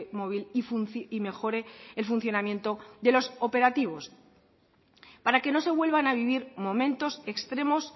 móvil y mejore el funcionamiento de los operativos para que no se vuelvan a vivir momentos extremos